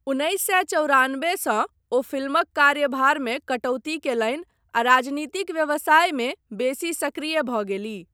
उन्नैस सए चौरानबे सँ ओ फिल्मक कार्यभारमे कटौती कयलनि आ राजनीतिक व्यवसायमे बेसी सक्रिय भऽ गेलीह।